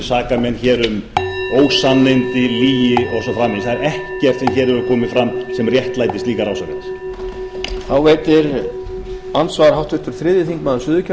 saka menn hér um ósannindi lygi og svo framvegis það er ekkert sem hér hefur komið fram sem réttlætir slíkar ásakanir